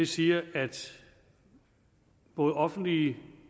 siger at både offentlige